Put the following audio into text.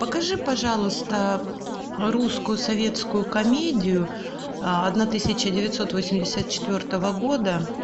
покажи пожалуйста русскую советскую комедию одна тысяча девятьсот восемьдесят четвертого года